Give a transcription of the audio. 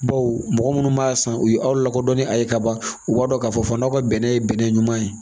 Baw mɔgɔ minnu b'a san u ye aw lakodɔn ni a ye kaban u b'a dɔn k'a fɔ fana aw ka bɛnɛ ye bɛnɛ ɲuman ye